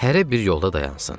Hərə bir yolda dayansın.